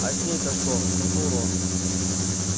а с ней-то что вздохнул рон